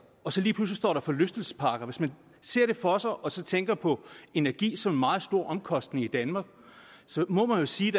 og så lige pludselig står der forlystelsesparker hvis man ser det for sig og så tænker på energi som en meget stor omkostning i danmark må man jo sige